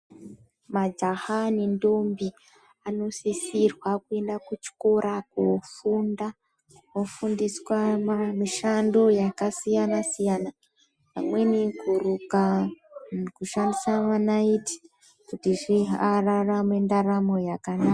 Majaha nendombi anosisirwa kuenda kuchikora kofunda vofundiswa mishando yakasiyana siyana imweni kuruka, kushandisa manaiti kuti ararame ndaramo yakanaka.